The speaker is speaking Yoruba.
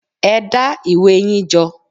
Ẹ dá ìwé yín jọ.!